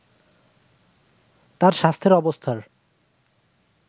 তার স্বাস্থ্যের অবস্থার